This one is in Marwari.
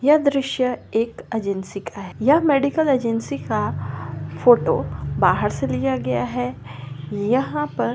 यह द्रश्य एक एजेंसी का है यह मेडिकल एजेंसी का फोटो बाहर से लिया गया है यहाँ पर--